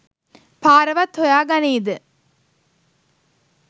පාරවත් හොයා ගනීද